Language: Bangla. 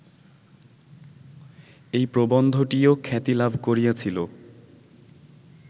এই প্রবন্ধটিও খ্যাতি লাভ করিয়াছিল